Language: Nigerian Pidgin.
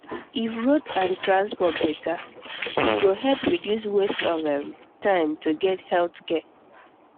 if road and transport better e go help reduce waste of um time to get health care